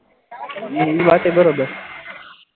એ વાત પણ બરાબર,